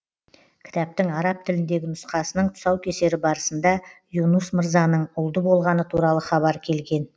кітаптың араб тіліндегі нұсқасының тұсаукесері барысында юнус мырзаның ұлды болғаны туралы хабар келген